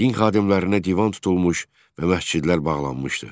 Din xadimlərinə divan tutulmuş və məscidlər bağlanmışdı.